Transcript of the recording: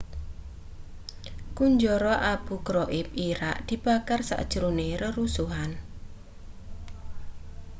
kunjara abu ghraib irak dibakar sajrone rerusuhan